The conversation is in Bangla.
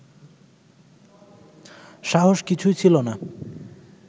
সাহস কিছুই ছিল না